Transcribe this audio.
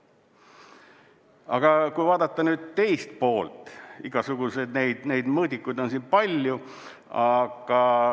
Aga kui vaadata nüüd teist poolt, igasuguseid neid mõõdikuid on siin palju.